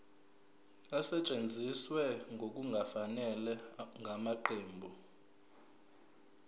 esetshenziswe ngokungafanele ngamaqembu